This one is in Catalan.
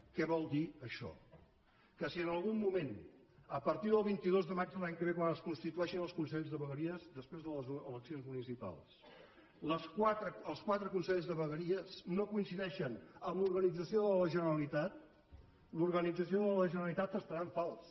què vol dir això que si en algun moment a partir del vint dos de maig de l’any que ve quan es constitueixin els consells de vegueries després de les eleccions municipals els quatre consells de vegueries no coincideixen amb l’organització de la generalitat l’organització de la generalitat estarà en fals